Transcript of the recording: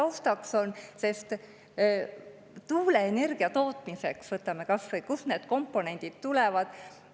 Võtame kas või selle, kust need tuuleenergia tootmiseks komponendid tulevad.